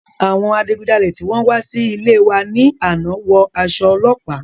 Àwọn adigunjalè tí wọn wá sí ilée wa ní àná wọ aṣọ ọlọ́pàá.